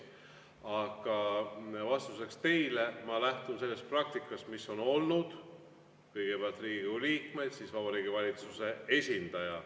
Aga vastuseks teile: ma lähtun sellest praktikast, mis on olnud: kõigepealt Riigikogu liikmed, siis Vabariigi Valitsuse esindaja.